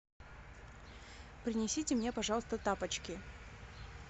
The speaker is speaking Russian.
принесите мне пожалуйста тапочки